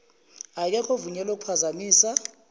akekho ovunyelwe ukuphazamisa